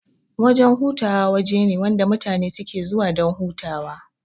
Wajan hutawa wajene wanda mutane suke zuwa dan hutawa